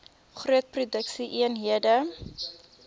groot produksie eenhede